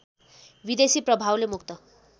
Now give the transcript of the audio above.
विदेशी प्रभावले मुक्त